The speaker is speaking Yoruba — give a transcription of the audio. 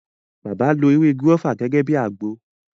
Bàbá lo “ewé gúrọ́fà” gẹ́gẹ́ bíi àgbo.